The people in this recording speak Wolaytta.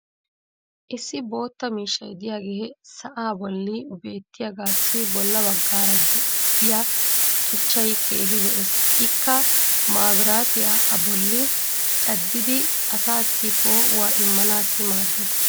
Issi bootta miishshay diyaage sa'aa bolli beetiyaagaassi bolla bagaara diya tuchchay keehi lo"ees. Ikka maabiraatiya a bolli caddidi asaassi poo'uwa immanaassi maaddees.